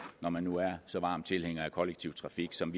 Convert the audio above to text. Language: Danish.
når man nu er så varme tilhængere af kollektiv trafik som